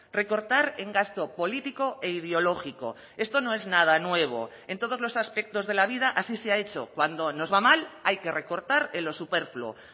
recortar en gasto político e ideológico esto no es nada nuevo en todos los aspectos de la vida así se ha hecho cuando nos va mal hay que recortar en lo superfluo